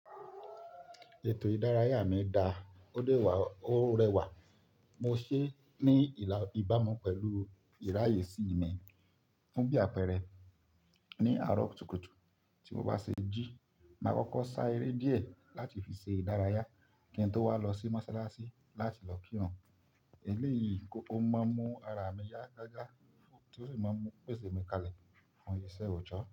Ètò ìdárayá mi da, ó dẹ́wà ó rẹwà. Mo ṣe ní ìbámu pẹ̀lú ìráyè sí mi fún bí àpẹẹrẹ ní àárọ̀ kùtùkùtù tí mo bá ṣe jí, màá kọ́kọ́ sá eré díẹ̀ láti fi ṣe ìdárayá kí n tó wá lọ sí mọ́sálásí láti lọ kírun. Èlé yìí o máa mú ara mi yá gágá tó sì máa mú pèsè mi kalẹ̀ fún ìṣe ọ̀jọ́.